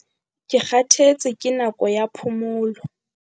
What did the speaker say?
ke kgathetse ke nako ya phomolo